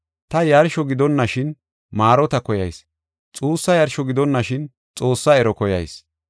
Ta yarsho gidonashin maarota koyayis; xuussa yarsho gidonashin Xoossaa ero koyayis.